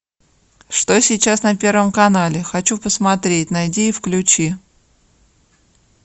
что сейчас на первом канале хочу посмотреть найди и включи